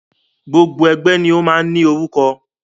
Gbogbo ẹgbẹ́ ni o máa ń ní orúkọ.